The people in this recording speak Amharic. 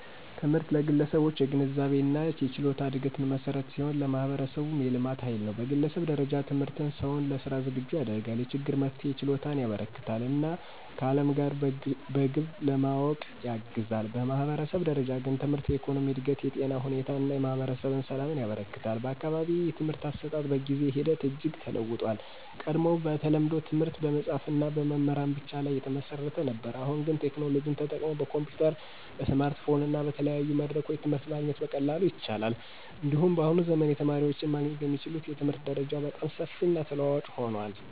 ትምህርት ለግለሰቦች የግንዛቤና የችሎታ እድገት መሠረት ሲሆን፣ ለማህበረሰቡም የልማት ኃይል ነው። በግለሰብ ደረጃ ትምህርት ሰውን ለሥራ ዝግጁ ያደርጋል፣ የችግር መፍትሄ ችሎታን ያበረከትለታል እና ከዓለም ጋር በግብ ለመዋወቅ ያግዛል። በማህበረሰብ ደረጃ ግን ትምህርት የኢኮኖሚ እድገትን፣ የጤና ሁኔታን እና የማህበረሰብ ሰላምን ያበረክታል። በአካባቢዬ የትምህርት አሰጣጥ በጊዜ ሂደት እጅግ ተለውጦአል። ቀድሞ በተለምዶ ትምህርት በመጽሀፍትና በመምህራን ብቻ ላይ የተመሰረተ ነበር። አሁን ግን ቴክኖሎጂ ተጠቅመው በኮምፒዩተር፣ በስማርትፎን እና በተለያዩ መድረኮች ትምህርት ማግኘት በቀላሉ ይቻላል። እንዲሁም በአሁኑ ዘመን የተማሪዎች ማግኘት የሚችሉት የትምህርት መረጃ በጣም ሰፊና ተለዋዋጭ ሆኗል።